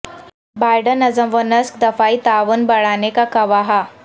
Biden نظم و نسق دفاعی تعاون بڑھانے کا خواہاں